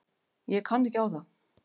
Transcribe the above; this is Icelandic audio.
Ég kann ekki á það.